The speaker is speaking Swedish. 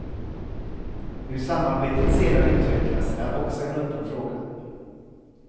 Hur samarbetet sedan utvecklas är också en öppen fråga.